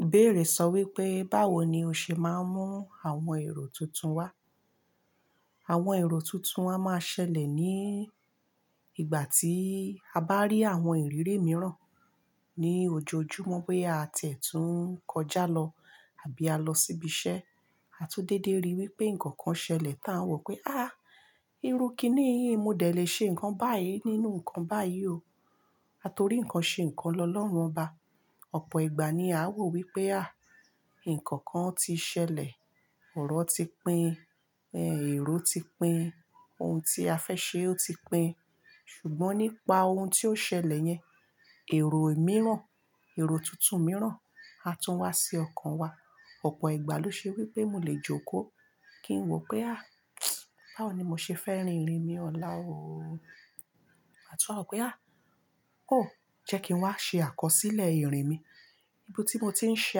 Ìbéèrè sọ wípé "báwo ni o ṣe má n mú àwọn èrò tuntun wá?" Àwọn èrò tuntun a máa ṣẹlẹ̀ ní ìgbà ti a bá rí àwọn ìrírí míràn ni ojoojúmọ́ bóyá a ti ẹ̀ tún n kọjá lọ àbí a lọ síbi iṣẹ́ a tún déédé rí wípé nǹkan kan ṣẹlẹ̀ tí à ń wóó wípé a irú kíni yí mo dẹ̀ le ṣe nǹkan báyìí nínú nǹkan báyìí o, a torí nǹkan sè kan lọlọ́run ọba, ọ̀pọ̀ ìgbà ni à ń wòó pé á. Ṣùgbọ́n nípa oun tí ó ṣẹlẹ̀ yẹn, èrò ìmíràn, èrò tuntun ìmíràn á tún wá sí ọkàn wa. Ọ̀pọ̀ ìgbà ló ṣe wípé mo lè jòkó kí n wòó pé á báwo ni mo ṣe fẹ́ rin ìrìn mi ọ̀la o, màá tún wá wòó pé á jẹ́ kí n wá ṣe àkọsílẹ̀ ìrìn mi. Ibi tí mo tí n ṣe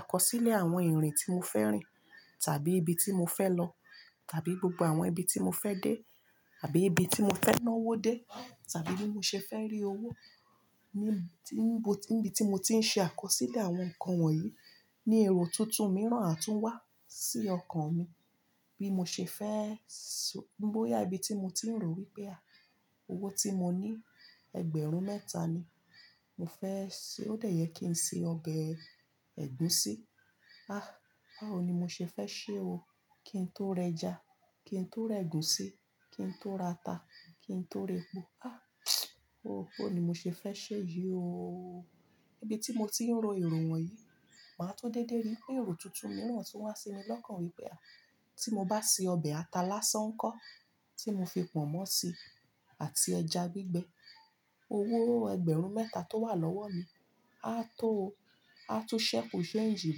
àkọsílẹ̀ ìrìn tí mo fẹ́ rìn tàbí ibi tí mo fẹ́ lọ, tàbí gbogbo àwọn ibi tí mo fẹ́ dé, àbí ibi tí mo fẹ́ náwó dé, tàbí bí mo ṣe dẹ́ rí owó, níbi tí mo ti ń ṣe àkọsílẹ̀ àwọn nǹkan wọ̀nyí ni èrò tuntun míràn á tún wá sí ọkàn mi, bí mo ṣe fẹ́, bóyá ibi tí mo ti n ròó wípé á owó tí mo ní ẹgbẹ̀rún mẹ́ta ni. Kí n se ọbẹ̀ ẹ̀gúsí, a báwo ni mo ṣe fẹ́ ṣe o, kí n tó reja kí n tó rẹ̀gúsí, kí n to rata, kí n tó repo, a bóo ni mo ṣe fẹ́ seé yí o, níbi tí mo tí n ro èrò wọ̀nyí, máà tún déédé rí pé èrò tuntun míràn tún wá sí mi lọ́kàn wípé a, "tí mo bá se ọbẹ̀ ata lásán ńkọ́?" tí mo fi pọ̀nmọ́ si àti ẹja gbígbẹ. Owó ẹgbẹ̀rún mẹ́ta tó wà lọ́wọ́ mi á tó o, a tún sẹ́ku ṣéǹgì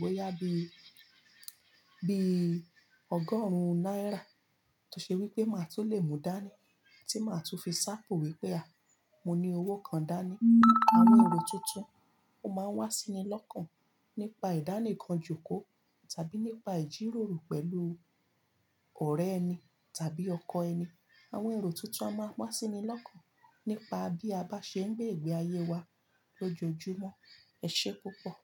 bóyá bíi ọgọ́rùn-ún náírà tó ṣe wípé máà tún lè mú dání tí màá tùn fi sápò wípé a, mo ní owó kan dání. Àwọn èrò tuntun oló máa ń wá sí ni lọ́kàn nípa ìdánìkan kó tàbí nípa ìjíròrò pẹ̀lú ọrẹ ẹni tàbí ọkọ ẹni. Àwọn èrò tuntun a máa wa sini lọ́kàn nípa bí a bá ṣe n gbé ìgbé ayé wa lojoojumọ. Ẹse púpọ̀.